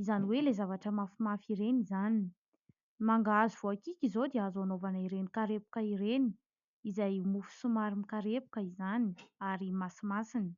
izany hoe ilay zavatra mafimafy ireny izany. Mangahazo voakiky izao dia azo anaovana ireny karepoka ireny izay mofo somary mikarepoka izany ary masimasina.